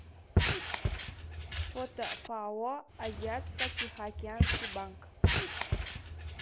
фото пао азиатско тихоокеанский банк